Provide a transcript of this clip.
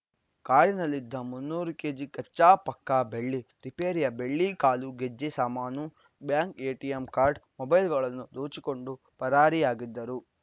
ಕಾರಿನಲ್ಲಿದ್ದ ಮುನ್ನೂರು ಕೆಜಿ ಕಚ್ಚಾ ಪಕ್ಕಾ ಬೆಳ್ಳಿ ರಿಪೇರಿಯ ಬೆಳ್ಳಿ ಕಾಲು ಗೆಜ್ಜೆ ಸಾಮಾನು ಬ್ಯಾಂಕ್‌ ಎಟಿಎಂ ಕಾಡ್‌ರ್‍ ಮೊಬೈಲ್‌ಗಳನ್ನು ದೋಚಿಕೊಂಡು ಪರಾರಿಯಾಗಿದ್ದರು